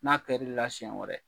N'a kɛr'i la siɲɛ wɛrɛ